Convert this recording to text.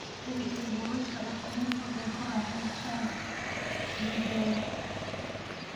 Hubi in buulasha ukumuhu ay ku raaxaystaan ??digaagga.